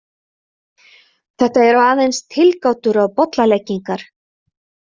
Þetta eru aðeins tilgátur og bollalengingar.